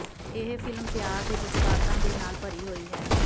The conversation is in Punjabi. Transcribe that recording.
ਇਹ ਫ਼ਿਲਮ ਪਿਆਰ ਦੇ ਜਜ਼ਬਾਤਾਂ ਦੇ ਨਾਲ ਭਰੀ ਹੋਈ ਹੈ